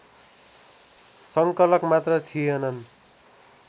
संकलक मात्र थिएनन्